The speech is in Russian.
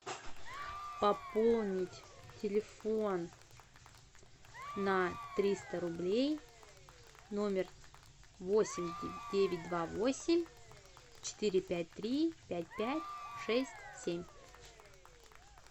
пополнить телефон на триста рублей номер восемь девять два восемь четыре пять три пять пять шесть семь